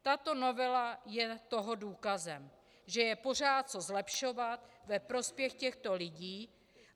Tato novela je toho důkazem, že je pořád co zlepšovat ve prospěch těchto lidí.